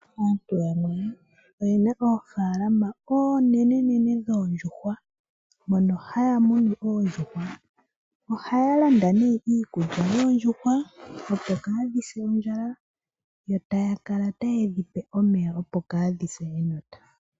Aantu yamwe oye na oofalama onenenene dhoondjuhwa mono haya munu oondjuhwa oha ya landa nee iikulya yoondjuhwa opo kaadhi se ondjala yo taya kala taye dhipe omeya opo kaadhi se enota.